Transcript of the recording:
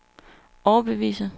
overbevise